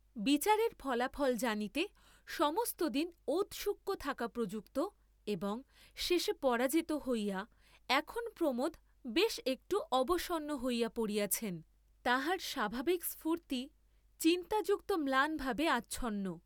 বিচারের ফলাফল জানিতে সমস্ত দিন ঔৎসুক্য থাকা প্রযুক্ত এবং শেষে পরাজিত হইয়া এখন প্রমোদ বেশ একটু অবসন্ন হইয়া পড়িয়াছেন, তাঁহার স্বাভাবিক স্ফূর্ত্তি চিন্তাযুক্ত ম্লানভাবে আচ্ছন্ন।